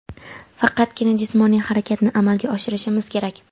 faqatgina jismoniy harakatni amalga oshirishimiz kerak.